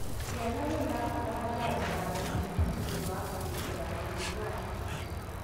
Ciana nĩirabatara njanjo ya BCG nĩũndũ wakwĩgitĩra na mũrimũ waTB